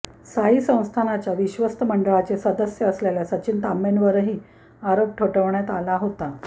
साई संस्थानच्य विश्वस्त मंडळाचे सदस्य असलेल्या सचिन तांबेंवरही आरोप ठेवण्यात आला होता